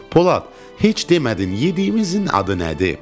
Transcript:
Polad, heç demədin yediyimizin adı nədir?